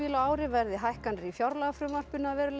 á ári verði hækkanir í fjárlagafrumvarpinu að veruleika